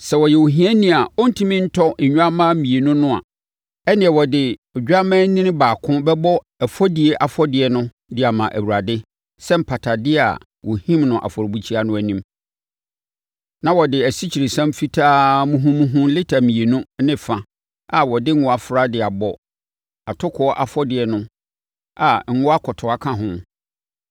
“Sɛ ɔyɛ ohiani a ɔrentumi ntɔ nnwammaa mmienu no a, ɛnneɛ, ɔde odwammaanini baako bɛbɔ ɛfɔdie afɔdeɛ no de ama Awurade sɛ mpatadeɛ a wɔhim no afɔrebukyia no anim; na wɔde asikyiresiam fitaa muhumuhu lita mmienu ne fa a wɔde ngo afra de abɔ atokoɔ afɔdeɛ no a ngo akɔtoa ka ho.